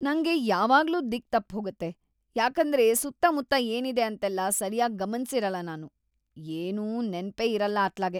ನಂಗೆ ಯಾವಾಗ್ಲೂ ದಿಕ್ಕ್ ತಪ್ಹೋಗತ್ತೆ, ಯಾಕಂದ್ರೆ ಸುತ್ತಮುತ್ತ ಏನಿದೆ ಅಂತೆಲ್ಲ ಸರ್ಯಾಗ್‌ ಗಮನ್ಸಿರಲ್ಲ ನಾನು, ಏನೂ ನೆನ್ಪೇ ಇರಲ್ಲ ಅತ್ಲಾಗೆ.